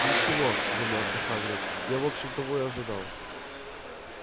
ничего замялся хагрид я в общем того ожидал